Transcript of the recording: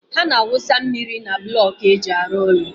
Ha na-awụsa mmiri na blọkų ndị e ji arụ ụlọ.